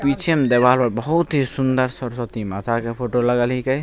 पीछे में दीवाल होते बहुत ही सुन्दर सरस्वती माता के फोटो लगल हीके --